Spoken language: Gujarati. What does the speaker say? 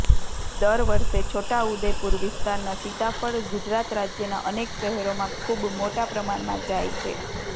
દર વર્ષે છોટાઉદેપુર વિસ્તારનાં સીતાફ્ળ ગુજરાત રાજ્યના અનેક શહેરોમાં ખૂબ મોટા પ્રમાણમાં જાય છે